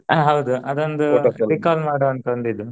ಹ ಹೌದು ಅದೊಂದು recall ಮಾಡೋ ಅಂತ ಒಂದ್ ಇದು.